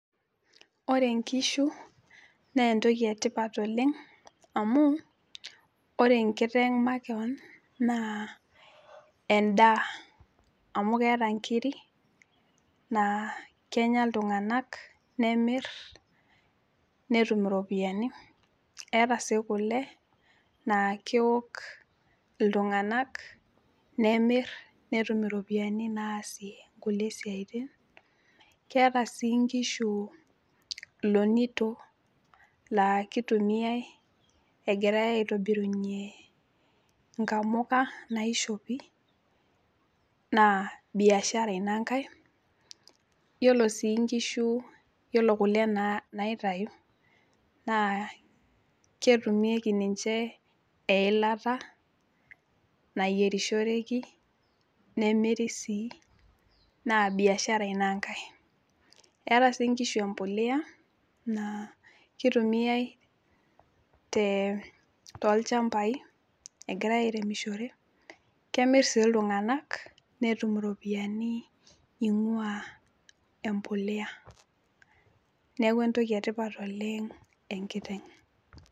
Ore nkishu neentoki etipat oleng' amu ore enkiteng' makewon naa endaa amu keeta nkiri naa kenya iltung'ana nemirr netum iropiani. Eeta sii kole naa keok iltung'anak nemirr netum iropiani naasie nkulie siaitin. Keeta sii nkishu ilonito laa keitumiai egirai aitobirunye nkamuka naishopi naa  biashara ina ngai, naa iyiolo sii nkishu iyiolo kole naa naaitayu naa ketumieki ninche eilata nayierishoreki nemiri sii naa biashara ina ngai. Eeta sii nkishu empolea naa keitumiai [tee] tolchambai egirai airemishore, kemirr sii iltung'anak netum iropiani eing'uaa empolea. Neaku entoki etipat oleng' enkiteng'.